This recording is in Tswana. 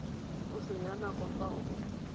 o senya nako fa o